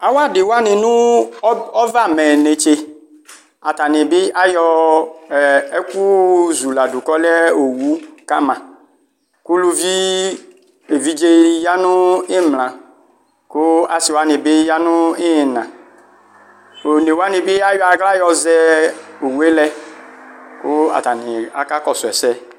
Awu adi wani nʋ ɔvɛamɛ neste atani ayɔ ekʋ zʋladʋ kʋ ɔlɛ owʋ kama kʋ ʋlʋvi evidze ni yanʋ imla kʋ asi wani bi yanʋ imla onewani bi ayɔ aɣla yɔzɛ owue lɛ kʋ atani akakɔsʋ ɛsɛ